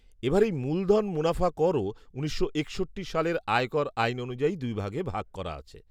এবার এই মূলধন মুনাফা করও উনিশশো একষট্টি সালের আয় কর আইন অনুযায়ী দুই ভাগে ভাগ করা আছে।